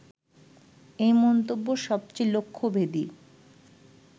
এই মন্তব্য সবচেয়ে লক্ষ্যভেদী